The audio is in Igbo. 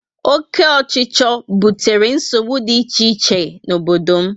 Oke ochicho butere nsogbu dị iche iche na obodo m